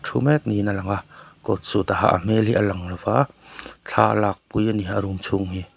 mek ni in alang a coat suit a ha a a hmel hi a lang lo va thla alak pui a ni a room chhung hi.